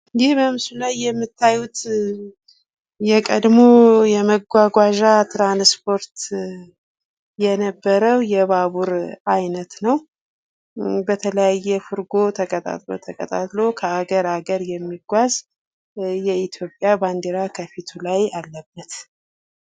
ይህ በምስሉ ላይ የምታዩት የቀድሞ የመጉጉዋዣ ትራንስፖርት የነበረው የባቡር አይነት ነው ፤ በተለያየ ፍርጎ ተቀጣጥሎ ተቀጣጥሎ ከአገር አገር የሚጉዋዝ ፤ የኢትዮጵያ ባንድራ ከፊቱ ላይ አለበት።